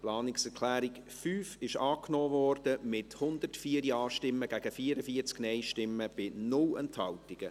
Die Planungserklärung 5 wurde angenommen, mit 104 Ja- gegen 44 Nein-Stimmen bei 0 Enthaltungen.